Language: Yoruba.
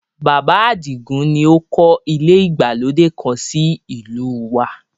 Bàbá Àdìgún ni ó kọ́ ilé ìgbàlódé kan sí ìlú u wa